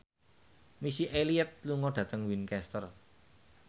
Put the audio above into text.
Missy Elliott lunga dhateng Winchester